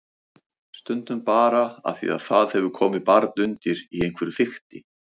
Stundum bara af því að það hefur komið barn undir í einhverju fikti.